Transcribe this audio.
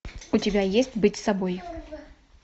у тебя есть быть собой